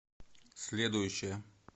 следующая